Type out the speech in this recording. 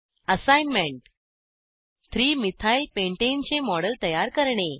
assignment 3 methyl pentane चे model तयार करणे